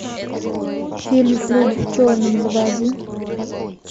фильм люди в черном заводи